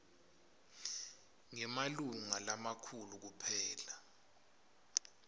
ngemalunga lamakhulu kuphela